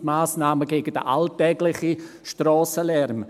Das sind die Massnahmen gegen den alltäglichen Strassenlärm.